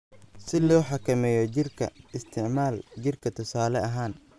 "Si loo xakameeyo jiirka, isticmaal jiirka tusaale ahaan.